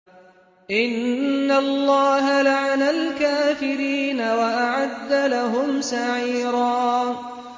إِنَّ اللَّهَ لَعَنَ الْكَافِرِينَ وَأَعَدَّ لَهُمْ سَعِيرًا